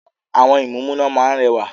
Àwọn ìmúǹmúná máa ń rẹwà.